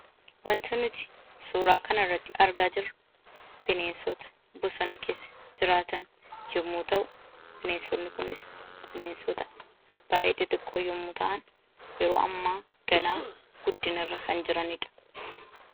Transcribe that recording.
Wanti nuti suuraa kanarratti argaa jirru bineensota bosona keessa jiraatan yommuu ta'u, bineensonni kunis bineensota baay'ee xixiqqoo yommuu ta'an, yeroo ammaa ganaa guddinarra kan jirani dha.